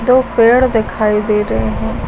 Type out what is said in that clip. दो पेड़ दिखाई दे रहे--